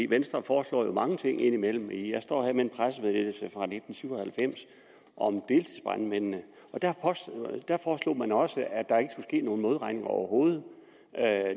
venstre foreslår jo mange ting indimellem jeg står her med en pressemeddelelse fra nitten syv og halvfems om deltidsbrandmændene og da foreslog man også at der ikke ske nogen modregning overhovedet